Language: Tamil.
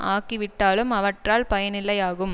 ஆகிவிட்டாலும் அவற்றால் பயனில்லையாகும்